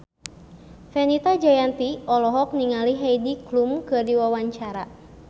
Fenita Jayanti olohok ningali Heidi Klum keur diwawancara